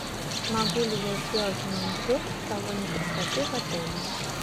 могу ли я сделать маникюр в салоне красоты в отеле